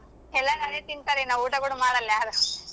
ಎಲ್ಲಾರ್ ಅದೆ ತಿಂತರೆನ್ ಊಟ ಕೂಡ ಮಾಡಲ್ಲ ಯಾರು.